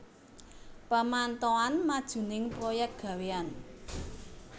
Pamantauan majuning proyek gawéyan